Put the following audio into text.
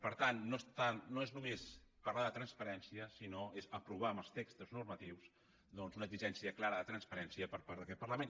per tant no és només parlar de transparència sinó que és aprovar amb els textos normatius una exigència clara de transparència per part d’aquest parlament